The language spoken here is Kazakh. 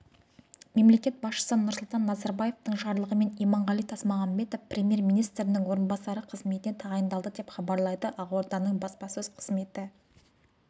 мемлекет басшысы нұрсұлтан назарбаевтың жарлығымен иманғали тасмағамбетов премьер-министрінің орынбасары қызметіне тағайындалды деп хабарлайды ақорданың баспасөз қызметі